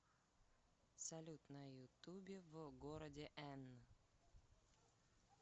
салют на ютубе в городе эн